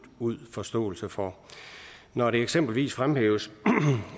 ud forståelse for når det eksempelvis fremhæves